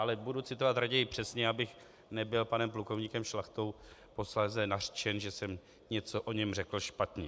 Ale budu citovat raději přesně, abych nebyl panem plukovníkem Šlachtou posléze nařčen, že jsem o něm něco řekl špatně.